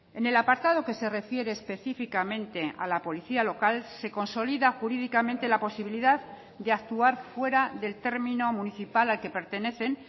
en el apartado que se refiere específicamente a la policía local se consolida jurídicamente la posibilidad de actuar fuera del término municipal al que pertenecen